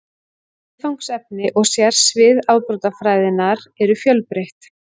Viðfangsefni og sérsvið afbrotafræðinnar eru fjölbreytt.